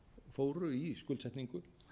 fóru í skuldsetningu